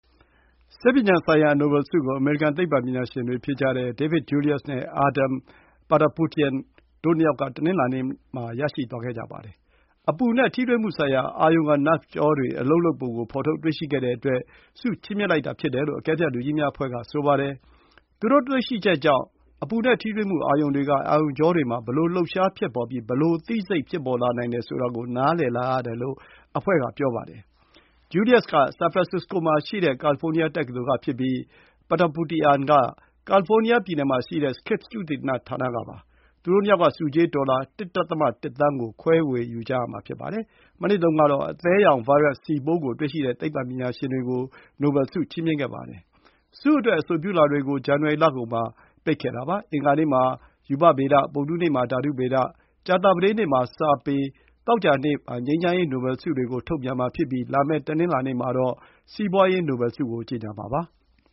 ဆေးပညာဆိုင်ရာ နိုဘယ်ဆုကို အမေရိကန် သိပ္ပံပညာရှင်တွေဖြစ်ကြတဲ့ David Julius နဲ့ Ardem Patapoutian တို့ နှစ်ယောက်က တနင်္လာနေ့ မှာ ရရှိသွားကြပါတယ်။ အပူနဲ့ထိတွေ့မှုဆိုင်ရာ အာရုံခံ နာဗ့်ကြောတွေကို ဖော်ထုတ်တွေ့ရှိခဲ့တဲ့အတွက် ချီးမြှင့်လိုက်တာဖြစ်တယ်လို့ အကဲဖြတ်လူကြီးများအဖွဲ့က ပြောပါတယ်။ သူတို့ တွေ့ရှိချက်ကြောင့် အပူနဲ့ ထိတွေ့မှု အာရုံတွေက အာရုံကြောတွေမှာ ဘယ်လို လှုပ်ရှားဖြစ်ပေါ်ပြီး သိစိတ်ဖြစ်ပေါ်လာနိုင်တယ် ဆိုတာကို နားလည်လာရတယ်လို့ အဖွဲ့က ဆိုပါတယ်။ Julius က San Francisco မှာ ရှိတဲ့ California တက္ကသိုလ်ကဖြစ်ပြီး Patapoutian က ကာလီဖိုးနီးယား ပြည်နယ် မှာရှိတဲ့ Scripps သုတေသနဌာနက ဖြစ်ပါတယ်။ သူတို့ ၂ ယောက်က ဆုကြေး ဒေါ်လာ ၁.၁ သန်းကို ခွဲဝေယူကြရမှာပါ။ မနှစ်တုံးကတော့ အသည်းယောင် ဗိုင်းရပ်စ် စီပိုးကို တွေ့ရှိခဲ့တဲ့ သိပ္ပံပညာရှင်တွေကို ဆုချီးမြှင့်ခဲ့ကြပါတယ်။ ဆုအတွက် အဆိုပြုလွှာတွေကို ဇန်နဝါရီလကုန်မှာ ပိတ်ခဲ့ပါတယ်။ အင်္ဂါနေ့မှာ ရူပဗေဒ၊ ဗုဒ္ဓဟူးနေ့မှာ ဓာတုဗေဒ၊ ကြာသပတေးနေ့မှာ စာပေ၊ သောကြာနေ့မှာ ငြိမ်းချမ်းရေး နိုဘယ်ဆုတွေကို ချီးမြှင့်မှာဖြစ်ပြီး လာမယ့် တနင်္လာနေ့ မှာ စီးပွါးရေး နိုဘယ်ဆုကို ကြေညာမှာပါ။